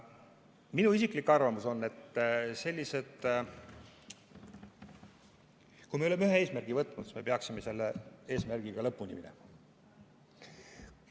Minu isiklik arvamus on, et kui me oleme ühe eesmärgi võtnud, siis me peaksime selle eesmärgiga lõpuni minema.